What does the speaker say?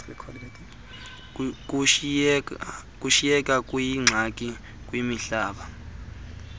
kushiyeka kuyingxaki kwimihlaba